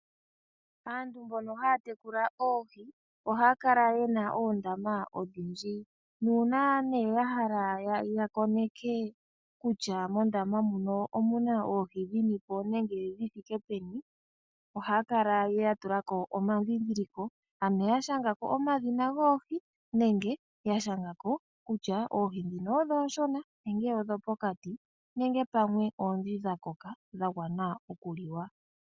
Aantu mbono haya tekula oohi ohaya kala yena oondama odhindji nuuna nee ya hala ya koneke kutya mondama muno omuna oohi dhinipo nenge dhithike peni ohaya kala ya tulako omadhindhiliko ano ya shangako omadhina goohi nenge ya shangako kutya oohi ndhino odho oonshona ,nenge odho pokati, nenge pamwe oondhi dha koka dhagwana okuliwa